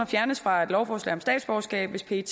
fjernes fra et lovforslag om statsborgerskab hvis pet